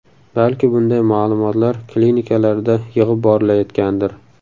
Balki bunday ma’lumotlar klinikalarda yig‘ib borilayotgandir.